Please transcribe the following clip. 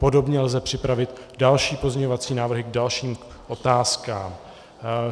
Podobně lze připravit další pozměňovací návrhy k dalším otázkám.